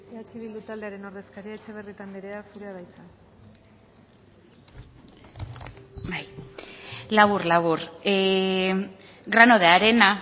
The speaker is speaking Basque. eh bildu taldearen ordezkaria etxebarrieta andrea zurea da hitza labur labur grano de arena